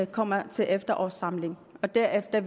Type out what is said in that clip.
kommer op til efterårssamlingen og derefter